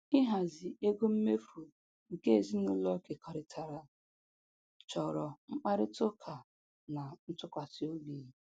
Ihazi ego mmefu nke ezinụlọ kekọrịtara chọrọ mkparịta ụka na ntụkwasịobi